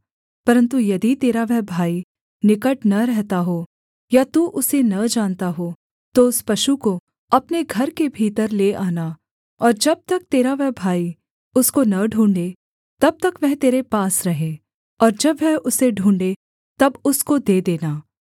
परन्तु यदि तेरा वह भाई निकट न रहता हो या तू उसे न जानता हो तो उस पशु को अपने घर के भीतर ले आना और जब तक तेरा वह भाई उसको न ढूँढ़े तब तक वह तेरे पास रहे और जब वह उसे ढूँढ़े तब उसको दे देना